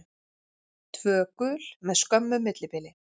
Tvö gul með skömmu millibili.